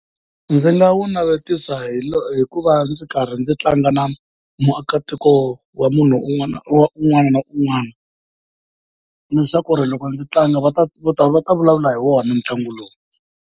Ndzi nga wu navetisa hikuva ndzi karhi ndzi tlanga na muakatiko wa munhu un'wana wa un'wana na un'wana leswaku loko ndzi tlanga va ta va ta vulavula hi wona ntlangu lowu.